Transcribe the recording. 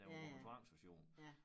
Den var på tvangsauktion